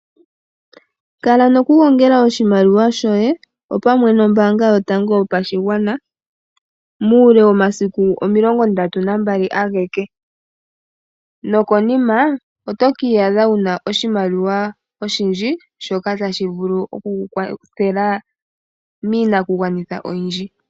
Kala noku gongela oshimaliwa shoye o pamwe nombaanga yotango yopashigwana. Muule womasiku omilongo ndatu nambali ageke nokonima oto kiyadha wuna oshimaliwa oshindji shoka tashi vulu okuku kwathela miinakugwanithwa oyindji.